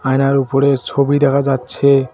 আয়নার উপরের ছবি দেখা যাচ্ছে।